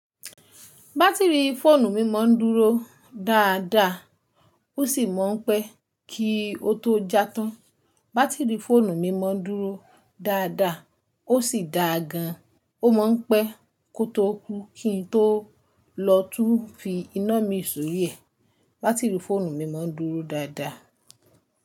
Bátìrì fóònù mi mọ̀ ń dúró dáadáa, ó sì mọ̀ ń pẹ́ kí ó tó já tán. Bátìrì fóònù mi mọ̀ ń dúró dáadáa, ó sì dáa gan, ó mọ̀ ń pẹ́ kó tó kú kí n tó lọ tún fi iná mi sóri ẹ̀. Bátìrì fóònù mi mọ̀ ń dúró dáadáa.